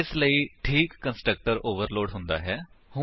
ਇਸ ਲਈ ਠੀਕ ਕੰਸਟਰਕਟਰ ਓਵਰਲੋਡ ਹੁੰਦਾ ਹੈ